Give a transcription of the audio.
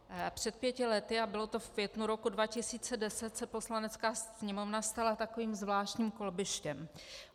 Před pěti lety, a bylo to v květnu roku 2010, se Poslanecká sněmovna stala takovým zvláštním kolbištěm.